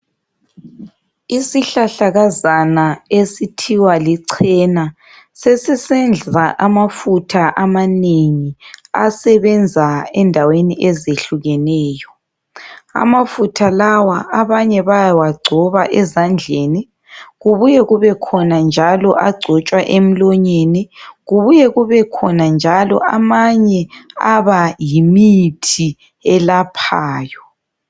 Isihlahlakazana esithiwa lichena sesisenza amafutha amanengi asebenza endaweni ezehlukeneyo. Amafutha lawa abanye bayawagcoba ezandleni kubuye kubekhona njalo agcotshwa emlonyeni, kubuye kubekhona najlo amanye abayimithi elaphayo.